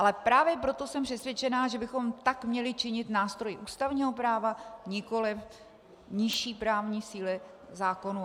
Ale právě proto jsem přesvědčena, že bychom tak měli činit nástroji ústavního práva, nikoliv nižší právní síly, zákonů.